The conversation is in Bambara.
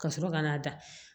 Ka sɔrɔ ka n'a da